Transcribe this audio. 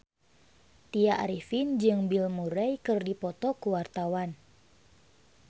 Tya Arifin jeung Bill Murray keur dipoto ku wartawan